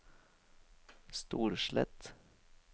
Storslett